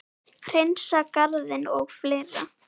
Hreinsa garðinn og fleira.